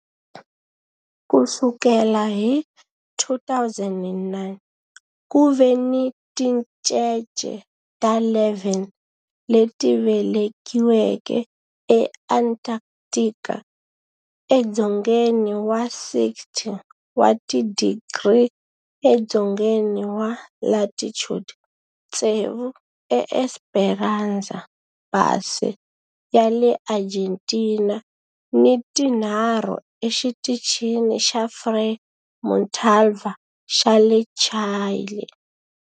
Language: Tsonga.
Ku sukela hi 2009, ku ve ni tincece ta 11 leti velekiweke eAntarctica, edzongeni wa 60 wa tidigri edzongeni wa latitude, tsevu eEsperanza Base ya le Argentina ni tinharhu eXitichini xa Frei Montalva xa le Chile.